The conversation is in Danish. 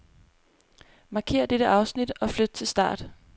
Markér dette afsnit og flyt til start.